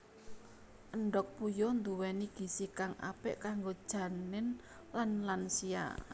Endhog puyuh nduwéni gizi kang apik kanggo janin lan lansia